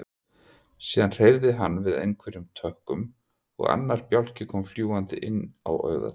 Síðan hreyfði hann við einhverjum tökkum og annar bjálki kom fljúgandi inn á augað.